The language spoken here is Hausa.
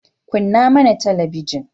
Kunna mana talabinin.